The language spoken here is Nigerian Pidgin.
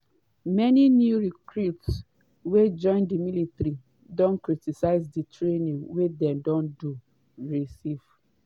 many new recruits wey join di military don criticise di training wey dem don receive.